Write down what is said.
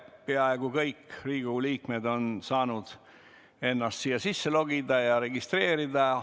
Peaaegu kõik Riigikogu liikmed on saanud ennast sisse logida ja registreerida.